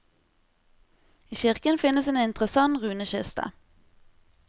I kirken finnes en interessant runekiste.